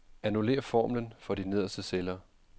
Annullér formlen for de nederste celler.